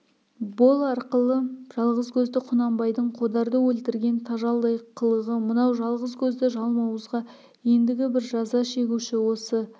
бол арқылы жалғыз көзді құнанбайдың қодарды өлтірген тажалдай қылығы мынау жалғыз көзді жалмауызға ендігі бір жаза шегуші осы